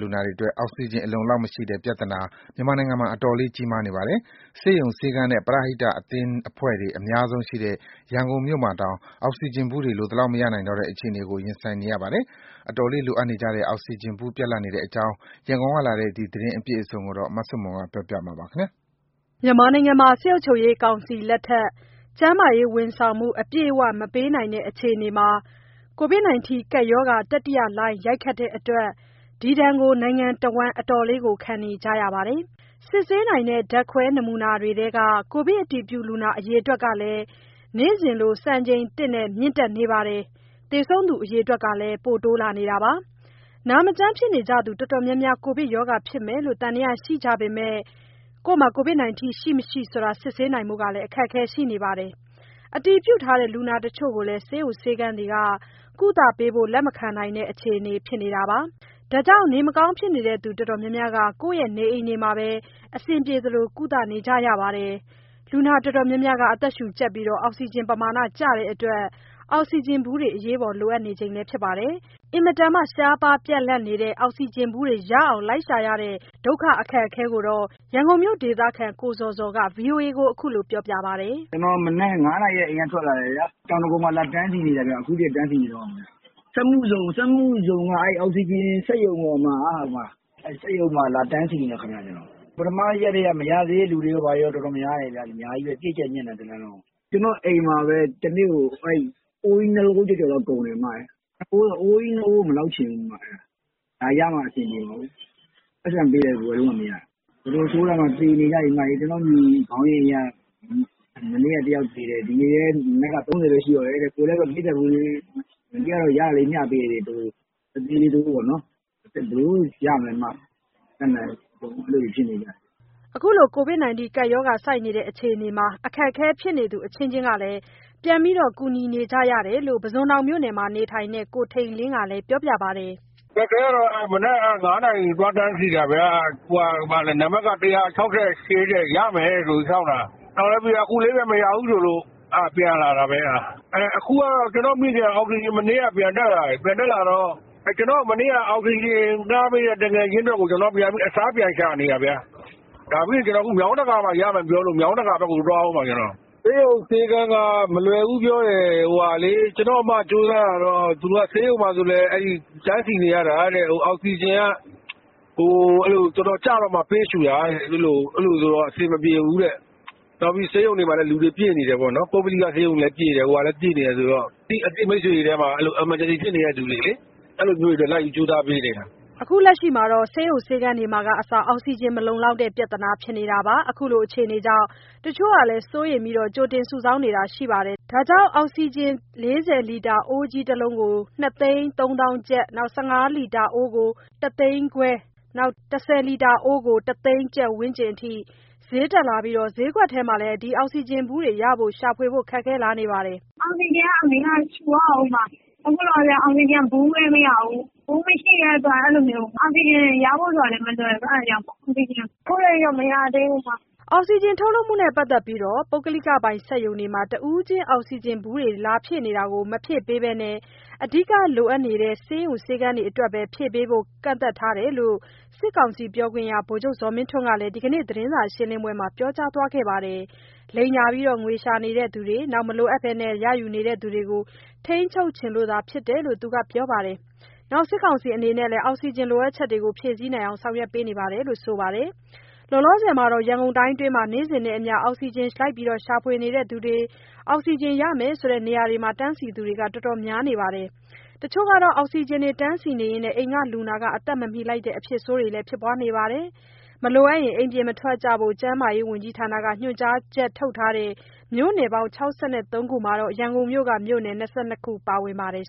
လူနာတွေအတွက် အောက်စီဂျင်အလုံအလောက်မရှိတဲ့ ပြဿနာမြန်မာနိုင်ငံမှာ တော်တော်လေး ကြီးမားနေပါတယ်။ ဆေးရုံ၊ ဆေးခန်းနဲ့ ပရဟိတ အသင်းအဖွဲ့တွေ အများဆုံးရှိတဲ့ ရန်ကုန်မြို့မှာတောင် အောက်ဆီဂျင်ဗူးတွေ လိုသလောက်မရနိုင်တော့တဲ့ အခြေအနေကို ရင်ဆိုင်နေရပါတယ်။ အတော်လေးလိုအပ်နေကြတဲ့ အောက်စီဂျင်ဗူးပြတ်လပ်နေတဲ့အကြောင်း ရန်ကုန်ကလာတဲ့ ဒီသတင်းအပြည့်အစုံကို မဆုမွန်ပြောပါလိမ့်မယ်။ စစ်ကောင်စီလက်ထက် ကျန်းမာရေးဝန်ဆောင်မှု အပြည့်အဝ မပေးနိုင်တဲ့ အခြေအနေမှာ ကိုဗစ်တတိယလှိုင်းရိုက်ခတ်တဲ့အတွက် ဒီဒဏ်ကို နိုင်ငံတဝန်း အတော်လေးခံနေကြရပါတယ်။ စစ်ဆေးနိုင်တဲ့ ဓါတ်ခွဲနမူနာတွေထဲက ကိုဗစ်အတည်ပြုလူနာ အရေအတွက်ကလည်း နေ့စဉ်လို စံချိန်သစ်နဲ့ မြင့်တက်နေပါတယ်။ သေဆုံးသူအရေအတွက်လည်း ပိုတိုးလာနေပါတယ်။ နာမကျန်းဖြစ်နေကြသူ တော်တော်များများ ကိုဗစ်ကပ်ရောဂါဖြစ်မယ်လို့ သံသယရှိနေကြပေမဲ့ ကိုဗစ် ရှိ၊ မရှိ စစ်ဆေးနိုင်ဖို့ အခက်အခဲရှိနေသလို၊ အတည်ပြုလူနာတချို့ကိုလည်း ဆေးရုံ ဆေးခန်းတွေက ကုသပေးဖို့ လက်မခံနိုင်တဲ့ အခြေအနေဖြစ်နေပါတယ်။ ဒါကြောင့် နေမကောင်းဖြစ်နေသူတော်တော်များများ ကိုယ့်နေအိမ်တွေမှာပဲ အဆင်ပြေသလို ကုသနေကြရပါတယ်။ လူနာတော်တော်များများ အသက်ရှုကြပ်ပြီး အောက်စီဂျင်ပမာဏကျတဲ့အတွက် အောက်စီဂျင်ဗူးတွေ အရေးပေါ်လိုအပ်နေကြပါတယ်။ အင်မတန် ရှားပါးပြတ်လပ်နေတဲ့ အောက်စီဂျင်ဗူးတွေ လိုက်ရှာရတဲ့ ဒုက္ခကို ရန်ကုန်မြို့ဒေသခံ ကိုဇော်ဇော်က ဗွီအိုအေကိုပြောပြပါတယ်။ "ကျနော် မနက် ၅နာရီကတည်းက အိမ်ကထွက်လာတယ်ဗျာ။ တောင်ဒဂုံမှာ လာတန်းစီနေတာ အခုထိ တန်းစီနေတုန်းပဲ။ စက်မှုဇုံက အောက်ဆီဂျင်စက်ရုံမှာ လာတန်းစီနေတာ။ ပထမရက်ထဲက မရသေးတဲ့သူတွေရော ဘာရော အများကြီးပဲဗျ ပြည့်ကြပ်ညပ်နေတာပဲ တလမ်းလုံးကို။ ကျနော့အိမ်မှာပဲ တနေ့ကို အိုးကြီး ၂ အိုး ကုန်တယ်။ အိုးကြီး ၂ အိုးကို မလောက်ချင်ဘူး။ အဲတော့ ဒါရမှ အဆင်ပြေမှာကို။ ပိုက်ဆံပေးလည်း ဝယ်လို့မှမရတာ။ တော်တော်ဆိုးတာမှ သေနေကြပြီ။ ကျနော့အိမ်ခေါင်းရင်းက မနေ့က တယောက်သေတယ်။ ဒီနေ့လည်း မနက်က ၃၀ ပဲရှိတော့တယ်တဲ့။ ကိုယ်လည်း ၄၀ အိုးလေး မနေ့ကရတာ မျှပေးလိုက်တယ်။ အသေးလေး တအိုးပေါ့နော်။ ဘယ်လိုလုပ်ရမလဲ မတတ်နိုင်ဘူး။ အကုန်လုံး အဲလိုဖြစ်နေကြပြီ။" ခုလိုအခြေအနေမှာ အခက်အခဲဖြစ်သူအချင်းချင်း ပြန်ပြီး ကူညီနေကြရတာကိုလည်း ပုဇွန်တောင်မှာနေထိုင်တဲ့ ကိုထိန်လင်းကလည်း ပြောပြပါတယ်။ "အခက်အခဲကတော့ မနက် ၅နာရီ သွားတန်းစီတာဗျာ နံပါတ်က ၁၆၈ တဲ့။ ရမယ်ဆိုပြီး စောင့်တာ အခုလေးပဲ မရဘူးဆိုလို့ ပြန်လာတာ။ အခုကတော့ ကျနော့မိခင်က မနေ့ကပဲ အောက်ဆီဂျင်ပြန်တက်လာတော့ ကျနော့်ကို မနေ့က အောက်ဆီဂျင်ငှားပေးတဲ့ သူငယ်ချင်းအတွက်ကို အစားပြန်ရှာနေတာဗျ။ ဒါပြီးရင် မြောင်းတကာဘက်မှာ ရတယ်ပြောလို့ မြောင်းတကာဘက်ကို သွားဦးမှာ။ ဆေးရုံ၊ ဆေးခန်းက မလွယ်ဘူးပြောတယ်။ ကျနော့အစ်မ ကြိုးစားတာတော့ ဆေးရုံမှာဆိုလည်း တန်းစီနေရတာတဲ့။ အောက်ဆီဂျင်က တော်တော်ကျမှ ပေးရှူတာတဲ့။ အဲလိုဆိုတော့ အဆင်မပြေဘူး။ နောက်ပြီး ပုဂ္ဂလိကဆေးရုံရော၊ အစိုးရဆေးရုံမှာရော လူတွေပြည့်နေတယ်ဆိုတော့ အသိမိတ်ဆွေတွေထဲမှာ အရေးပေါ် ဖြစ်နေတဲ့ သူတွေအတွက် လိုက်ပြီးကြိုးစားပေးနေတာ။" ဆေးရုံ၊ ဆေးခန်းတွေမှာကအစ အောက်စီဂျင် မလုံလောက်တဲ့ ပြဿနာဖြစ်နေတာပါ။ ခုလိုအခြေအနေကြောင့် တချို့ကလည်း စိုးရိမ်ပြီး ကြိုတင်စုဆောင်းတာမျိုးတွေ ရှိနေပါတယ်။ ဒါကြောင့် အောက်ဆီဂျင် ၄၀ လီတာ အိုးကြီးတလုံးကို ၂၃၀,၀၀၀ ကျပ်၊ ၁၅ လီတာ အိုးကို ၁၅၀,၀၀၀ ကျပ်နဲ့ ၁၀ လီတာ အိုးကတော့ ၁၀၀,၀၀၀ ကျပ် ဝန်းကျင်အထိ ဈေးတက်လာပြီး ဈေးကွက်ထဲမှာ ရှာဝယ်ဖို့ခက်ခဲလာပါတယ်။ "အောက်ဆီဂျင်က အမေက ရှူရဦးမှာ။ အခုလောလောဆယ် အောက်ဆီဂျင်က ဗူးလည်းမရဘူး။ ဗူးမရှိတဲ့အတွက် အောက်ဆီဂျင်ရဖို့ကလည်း မလွယ်ဘူး။ ရှာနေတာ အခုထက်ထိတော့ မရသေးဘူး။" အောက်စီဂျင်ထုတ်လုပ်မှုနဲ့ပါတ်သက်လို့ ပုဂ္ဂလိကပိုင်စက်ရုံတွေမှာ တဦးချင်းအောက်စီဂျင်ဗူးတွေ လာဖြည့်နေတာ မဖြည့်ပေးဘဲ အဓိကလိုအပ်နေတဲ့ ဆေးရုံ ဆေးခန်းတွေအတွက်သာ ဖြည့်ပေးဖို့ ကန့်သတ်ထားတယ်လို့ စစ်ကောင်စီပြောခွင့်ရ ဗိုလ်ချုပ်ဇော်မင်းထွန်းက ဒီနေ့သတင်းစာရှင်းပွဲမှာ ပြောကြားသွားပါတယ်။ လိမ်ညာငွေရှာနေသူတွေ၊ မလိုအပ်ဘဲ ရယူနေသူတွေကို ထိန်းချုပ်ချင်လို့ဖြစ်တယ်လို့ သူကပြောပါတယ်။ စစ်ကောင်စီအနေနဲ့လည်း အောက်စီဂျင်လိုအပ်ချက်တွေကို ဖြည့်ဆည်းနိုင်အောင် ဆောင်ရွက်နေပါတယ်လို့ ပြောပါတယ်။ လောလောဆယ်မှာတော့ ရန်ကုန်တိုင်းမှာတော့ နေ့စဉ်နဲ့အမျှ အောက်ဆီဂျင်ရှာဖွေသူတွေ၊ အောက်စီဂျင်ရမယ်ဆိုတဲ့ နေရာတွေမှာ တန်းစီသူတွေ တော်တော်များနေပါတယ်။ တချို့တွေ အောက်ဆီဂျင်တန်းစီရင်း အိမ်က လူနာအသက်မမီလိုက်တဲ့ အဖြစ်ဆိုးတွေလည်းရှိပါတယ်။ မလိုအပ်ရင် အိမ်ပြင်မထွက်ဘို့ ကျန်းမာရေးဝန်ကြီးဌာနက ညွှန်ကြားချက်ထုတ်ထားတဲ့ မြို့နယ်ပေါင်း ၆၃ ခုမှာ ရန်ကုန်မြို့က မြို့နယ် ၂၂ ခုပါဝင်ပါတယ်